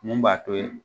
Mun b'a to